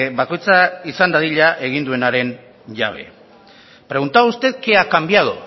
bakoitza izan dadila egin duenaren jabe preguntaba usted qué ha cambiado